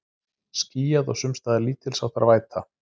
Skýjað og sums staðar lítilsháttar væta